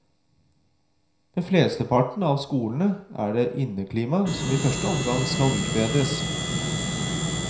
Ved flesteparten av skolene er det inneklimaet som i første omgang skal utbedres.